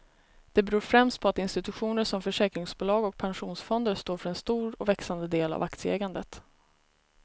Det beror främst på att institutioner som försäkringsbolag och pensionsfonder står för en stor och växande del av aktieägandet.